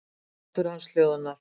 Grátur hans hljóðnar.